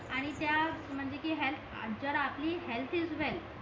आणि त्या म्हणजे कि हेअल्थ जर आपली हेअल्थ इस वेल्थ